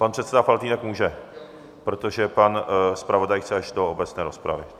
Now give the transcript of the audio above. Pan předseda Faltýnek může, protože pan zpravodaj chce až do obecné rozpravy.